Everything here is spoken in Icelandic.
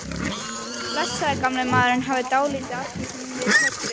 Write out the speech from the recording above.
Blessaður gamli maðurinn hafði dálítið af því sem við köllum